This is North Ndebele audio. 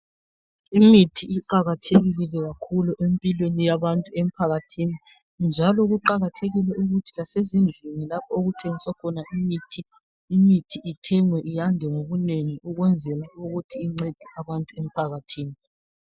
Imithi iqakathekile kakhulu, empilweni yabantu emphakathini, njalo kuqakathekile ukuthi lasezindlini lapho, okuthengiswa khona imithi, imithi ithengwe, yande ngobunengi. Ukwenzela ukuthi incede abantu emphakathini.